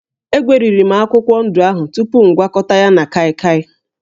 Egweriri m akwụkwọ ndụ ahụ tupu m gwakọta ya na kaịkaị